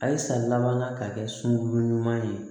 A ye san laban ka kɛ sunkuru ɲuman ye